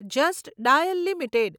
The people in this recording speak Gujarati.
just Dial limited